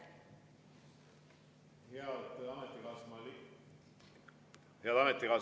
Head ametikaaslased!